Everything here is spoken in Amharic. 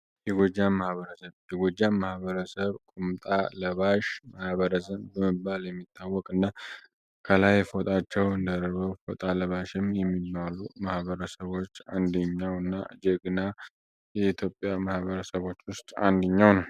የጎጃም ማህበረሰብ ቁምጣ ለባሽ ማህበረሰብ በመባል የሚታወቅ እና ከላይ ፎጣቸው ደርበው ፎጣ ለባሽም የሚባሉ ማህበረሰቦች አንድኛው እና ጄግና የኢትዮጵያ ማህበረሰቦች ውስጥ አንድኛው ነው።